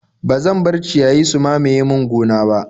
Ba zan bar ciyayi su mamaye min gona ba.